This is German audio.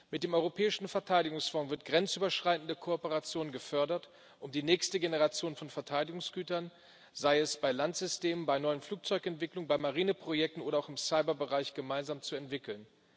Mit dem Europäischen Verteidigungsfonds wird grenzüberschreitende Kooperation gefördert und die nächste Generation von Verteidigungsgütern sei es bei Landsystemen, bei neuen Flugzeugentwicklungen, bei Marineprojekten oder auch im Cyberbereich gemeinsam entwickelt.